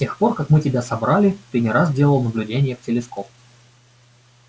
с тех пор как мы тебя собрали ты не раз делал наблюдения в телескоп